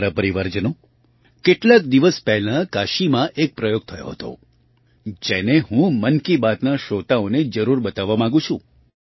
મારા પરિવારજનો કેટલાક દિવસ પહેલાં કાશીમાં એક પ્રયોગ થયો હતો જેને હું મન કી બાતના શ્રોતાઓને જરૂર બતાવવા માગું છું